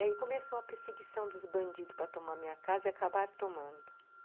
E aí começou a perseguição dos bandidos para tomar a minha casa e acabaram tomando.